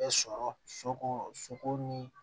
Bɛ sɔrɔ soko soko ni